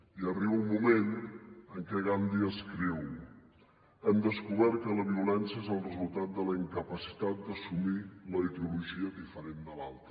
i arriba un moment en què gandhi escriu hem descobert que la violència és el resultat de la incapacitat d’assumir la ideologia diferent de l’altre